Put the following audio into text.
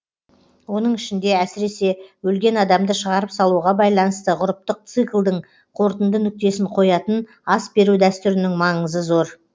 оның ішінде әсіресе өлген адамды шығарып салуға байланысты ғұрыптық циклдің қорытынды нүктесін қоятын ас беру дәстүрінің маңызы зор